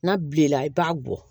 N'a bilenna i b'a bɔ